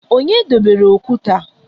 Onye debere okwute a?